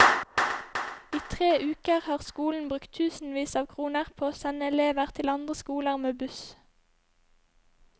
I tre uker har skolen brukt tusenvis av kroner på å sende elever til andre skoler med buss.